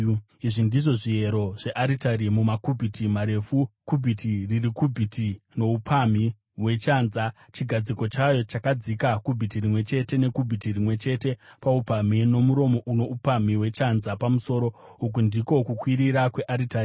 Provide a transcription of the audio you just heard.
“Izvi ndizvo zviyero zvearitari mumakubhiti marefu, kubhiti riri kubhiti noupamhi hwechanza : Chigadziko chayo chakadzika kubhiti rimwe chete nekubhiti rimwe chete paupamhi, nomuromo uno upamhi hwechanza pamusoro. Uku ndiko kukwirira kwearitari: